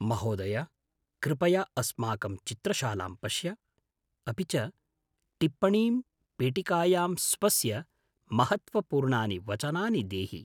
महोदय, कृपया अस्माकं चित्रशालां पश्य, अपि च टिप्पणीं पेटिकायां स्वस्य महत्त्वपूर्णानि वचनानि देहि।